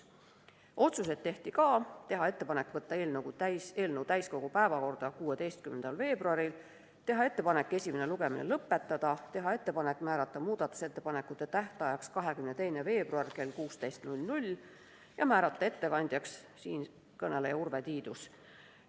Otsused tehti ka: teha ettepanek võtta eelnõu täiskogu päevakorda 16. veebruariks, teha ettepanek esimene lugemine lõpetada, teha ettepanek määrata muudatusettepanekute tähtajaks 22. veebruar kell 16 ja määrata ettekandjaks siinkõneleja Urve Tiidus.